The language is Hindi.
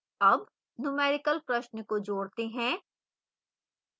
add numerical प्रश्न को जोड़ते हैं